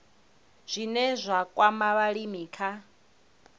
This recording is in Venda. zwine zwa kwama vhulimi kha